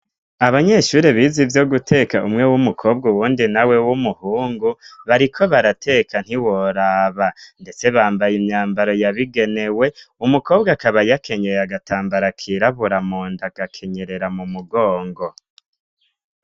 Abanyeshure biza ivyo guteka umwe w'umukobwa uwundi nawe w'umuhungu bariko barateka ntiworaba ndetse bambaye imyambaro yabigenewe umukobwa akaba yakenyeye agatambara kiraburamunda gakenyerera mu mugongo.